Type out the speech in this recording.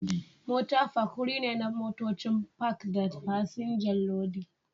Mota Park wuri ne na motocin Park da fasinja lodi